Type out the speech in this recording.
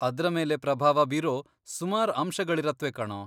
ಅದ್ರ ಮೇಲೆ ಪ್ರಭಾವ ಬೀರೋ ಸುಮಾರ್ ಅಂಶಗಳಿರತ್ವೆ ಕಣೋ.